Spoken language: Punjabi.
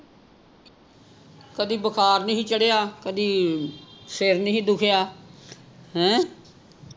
ਕਦੀ ਬੁਖਾਰ ਨਹੀਂ ਸੀ ਚੜ੍ਹਿਆ ਕਦੀ ਸਰ ਨਹੀਂ ਸੀ ਦੁਖੀਆ ਹੈਂ